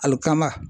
Alikama